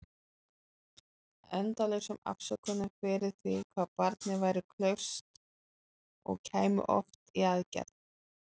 Endalausum afsökunum fyrir því hvað barnið væri klaufskt- og kæmi oft í aðgerð.